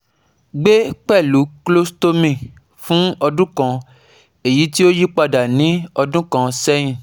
gbe pẹlu colostomy fun ọdun kan, eyiti o yipada ni ọdun kan sẹyin